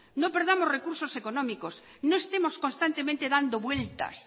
no perdamos recursos económicos no estemos constantemente dando vueltas